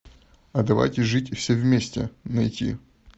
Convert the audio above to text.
а давайте жить все вместе найти